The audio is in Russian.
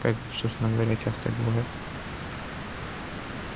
как собственно говоря часто и бывает